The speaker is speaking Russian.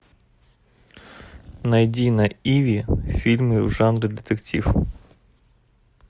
найди на иви фильмы в жанре детектив